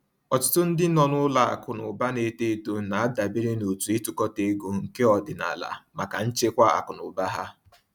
Ọtụtụ ndị nọ n’ụlọ akụ na ụba na-eto eto na-adabere n’òtù ịtukọta ego nke ọdịnala maka nchekwa akụ na ụba ha.